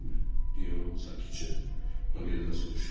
Deyə o sakitcə Maqreldən soruşdu.